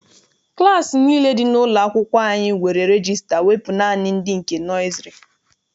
Klassi nile dị n'ụlọ akwụkwọ anyị nwere regista wepụ naanị nke ndị nọiziri.